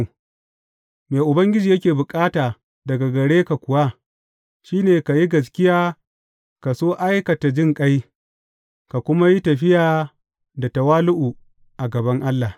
Me Ubangiji yake bukata daga gare ka kuwa shi ne ka yi gaskiya ka so aikata jinƙai ka kuma yi tafiya da tawali’u a gaban Allah.